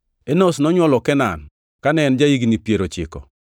Enosh nonywolo Kenan kane en ja-higni piero ochiko.